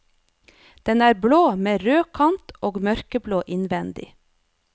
Den er blå med rød kant og mørkeblå innvendig.